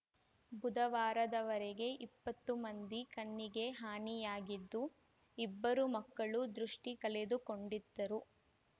ಬುಧವಾರದವರೆಗೆ ಇಪ್ಪತ್ತು ಮಂದಿ ಕಣ್ಣಿಗೆ ಹಾನಿಯಾಗಿದ್ದು ಇಬ್ಬರು ಮಕ್ಕಳು ದೃಷ್ಟಿಕಳೆದುಕೊಂಡಿದ್ದರು